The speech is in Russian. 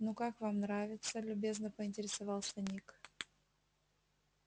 ну как вам нравится любезно поинтересовался ник